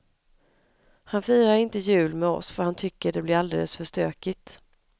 Han firar inte jul med oss för han tycker det blir alldeles för stökigt.